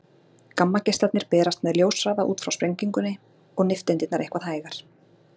Gamma-geislarnir berast með ljóshraða út frá sprengingunni, og nifteindirnar eitthvað hægar.